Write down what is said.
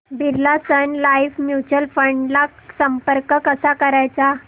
Birla Sun Life Mutual Fund ला संपर्क कसा करायचा